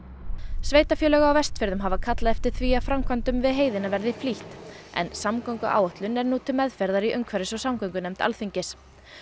sveitarfélög á Vestfjörðum hafa kallað eftir því að framkvæmdum við heiðina verði flýtt en samgönguáætlun er nú til meðferðar í umhverfis og Alþingis